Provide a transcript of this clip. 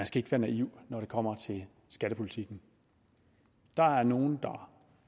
skal være naiv når det kommer til skattepolitikken der er nogle der